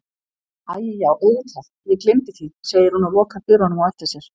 Æi já auðvitað ég gleymdi því, segir hún og lokar dyrunum á eftir sér.